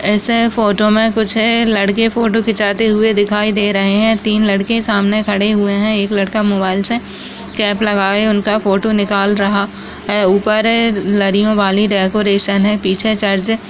ऐसे फोटो मे कुछ है लड़के फोटो खिचाते हुए दिखाई दे रहे है तीन लड़के सामने खड़े हुए है एक लड़का मोबाइल से कैप लगा हुआ है उनका फोटो निकाल रहा है उपर डेकोरेशन है पीछे चर्च है।